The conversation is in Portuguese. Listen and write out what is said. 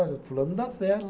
Olha, fulano não dá certo.